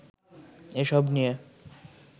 এসব নিয়ে